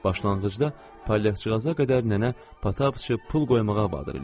Başlanğıcda palyaçıqaza qədər nənə Patappıçı pul qoymağa vadar eləyirdi.